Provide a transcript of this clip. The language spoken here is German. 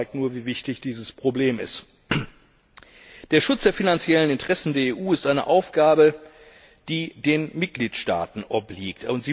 Das zeigt nur, wie wichtig dieses Problem ist. Der Schutz der finanziellen Interessen der EU ist eine Aufgabe, die den Mitgliedstaaten obliegt